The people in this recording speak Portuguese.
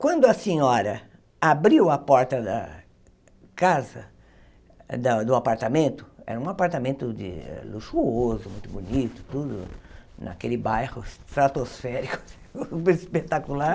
Quando a senhora abriu a porta da casa, da do apartamento, era um apartamento luxuoso, muito bonito, tudo naquele bairro, estratosférico, espetacular,